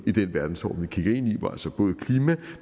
verdensorden vi kigger ind i hvor altså både klima